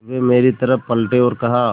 वे मेरी तरफ़ पलटे और कहा